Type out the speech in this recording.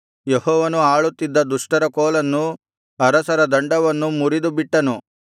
ಯೆಹೋವನು ಆಳುತ್ತಿದ್ದ ದುಷ್ಟರ ಕೋಲನ್ನೂ ಅರಸರ ದಂಡವನ್ನೂ ಮುರಿದುಬಿಟ್ಟನು